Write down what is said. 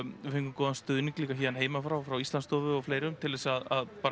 við fengum góðan stuðning líka héðan heiman frá frá Íslandsstofu og fleirum til þess að